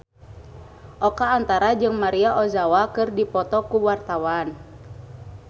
Oka Antara jeung Maria Ozawa keur dipoto ku wartawan